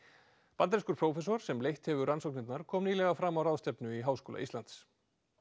bandarískur prófessor sem leitt hefur rannsóknirnar kom nýlega fram á ráðstefnu í Háskóla Íslands